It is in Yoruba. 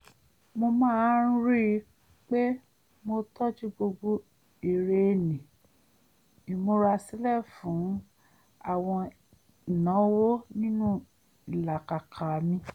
mo máa ń rí i pé mo tọ́jú gbogbo èrè ní ìmúra sílẹ̀ fún àwọn ìnáwó nínú ìlàkàkà mi